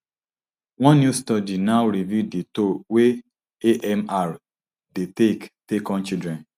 one new study now reveal di toll wey amr dey take take on children